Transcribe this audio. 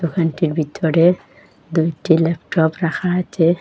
দোকানটির ভিতরে দুইটি ল্যাপটপ রাখা আছে।